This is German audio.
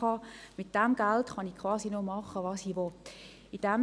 Die AHV- und Pensionskassenbeiträge werden ja ebenfalls direkt abgezogen.